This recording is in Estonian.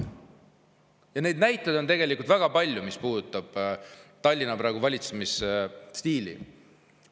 Ja neid näiteid on tegelikult väga palju, mis puudutavad praegust Tallinna valitsemisstiili.